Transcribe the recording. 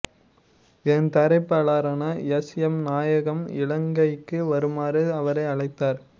இதன் தயாரிப்பாளரான S M Nayagam இலங்கைக்கு வருமாறு அவரை அழைத்தார்